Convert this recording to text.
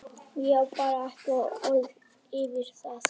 Ég á bara ekki orð yfir það.